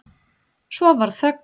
Svo varð þögn.